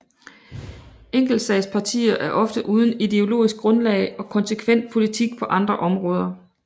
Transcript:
Enkeltsagspartier er ofte uden ideologisk grundlag og konsekvent politik på andre områder